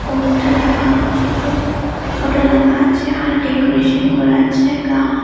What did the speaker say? post -টা লাগা ছোটো ফটো লাগা আছে আর ডেকোরেশন করা আছে গা--